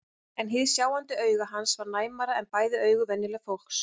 En hið sjáandi auga hans var næmara en bæði augu venjulegs fólks.